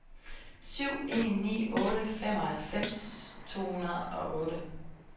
syv en ni otte femoghalvfems to hundrede og otte